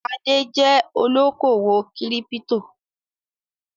Adé jẹ́ olókòwò kírípító.